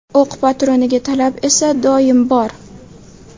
O‘q patroniga talab esa doim bor.